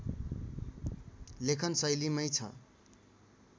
लेखनशैलीमै छ